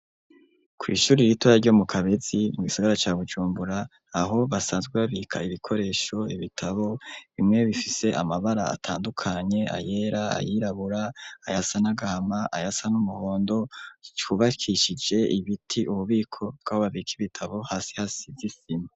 Kw'ishure ritoya ryo mu Kabezi, mu gisigara ca Bujumbura, aho basanzwe babika ibikoresho, ibitabo bimwe bifise amabara atandukanye, ayera, ayirabura, ayasa n'agahama, ayasa n'umuhondo, cubakishije ibiti, ububiko bw'aho babika ibitabo hasi hasize isima.